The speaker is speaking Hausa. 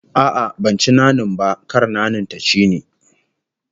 A'a, ban ci nanin ba, kar nanin ta ci ni